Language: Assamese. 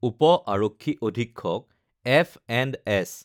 উপ আৰক্ষী অধীক্ষক এফ.এণ্ড.এছ.